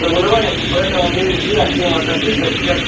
заболевание поэтому нельзя к ним относится как